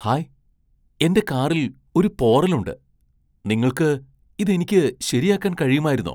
Hi! എന്റെ കാറിൽ ഒരു പോറൽ ഉണ്ട്, നിങ്ങൾക്ക് ഇത് എനിക്ക് ശരിയാക്കാൻ കഴിയുമായിരുന്നോ.